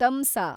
ತಮ್ಸಾ